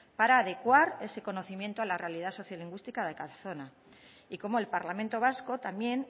para adecuar ese conocimiento a la realidad sociolingüística de cada zona y cómo el parlamento vasco también